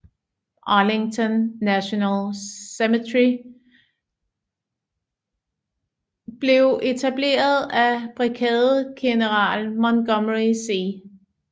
Arlington National Cemetery blev etableret af Brigadegeneral Montgomery C